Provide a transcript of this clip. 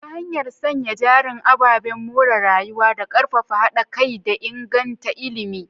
ta hanyar sanya jarin ababen more rayuwa, da karfafa hada kai, da inganta ilimi.